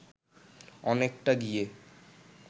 অনেকটা গিয়ে